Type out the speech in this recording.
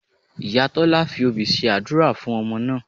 Ìyá Tọ́lá fi obì ṣe àdúrà fún ọmọ náà